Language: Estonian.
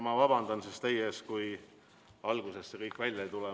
Ma vabandan teie ees, kui mul alguses kõik välja ei tule.